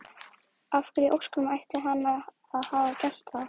Af hverju í ósköpunum ætti hann að hafa gert það?